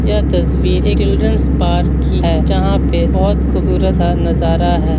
यह तस्वीर children's park की है जहां पे बहुत खूबसूरत नजारा है।